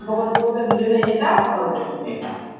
গল্প করতে করতে দু জনে যেতাম গল্প করতে করতে